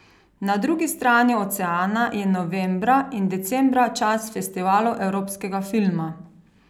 Na drugi strani oceana je novembra in decembra čas festivalov evropskega filma.